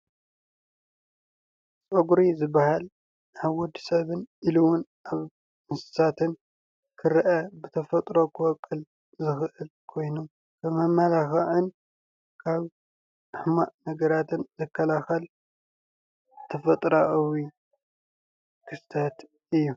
ፀጉሪ ዝባሃል ኣብ ወዲ ሰብን ኢሉ እውን ኣብ እንስሳትን ክረአ ብተፈጥሮ ዝወቅል ዝክእል ኮይኑ ንመማላክዕን ካብ ሕማቅ ነገራትን ዝክላከል ተፈጥራኣዊ ክፍልታት እዩ፡፡